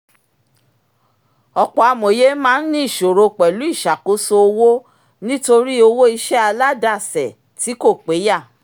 ọ̀pọ̀ amòye máa ń ní ìṣòro pẹ̀lú ìsàkóso owó nítorí owó iṣẹ́ aládàsẹ̀ tí kò péyà